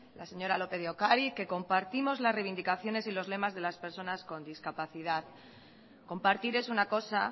la señora lópez de ocariz que compartimos las reivindicaciones y los lemas de las personas con discapacidad compartir es una cosa